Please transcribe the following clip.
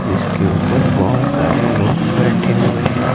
जिसके ऊपर बहोत सारे लोग बैठे हुए हैं।